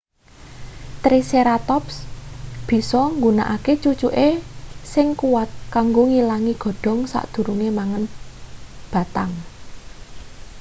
triceratops bisa nggunakake cucuke sing kuwat kanggo ngilangi godhong sadurunge mangan batang